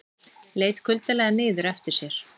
Leit kuldalega niður eftir sér.